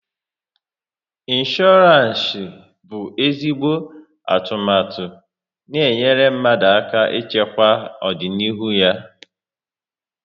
Insooransi bụ ezigbo atụmatụ n'enyere mmadụ aka ịchekwaa ọdịnihu ya